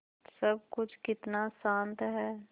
सब कुछ कितना शान्त है